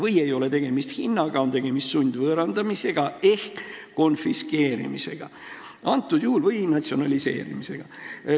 Nii et tegemist ei ole hinnaga, tegemist on sundvõõrandamisega ehk konfiskeerimisega või natsionaliseerimisega.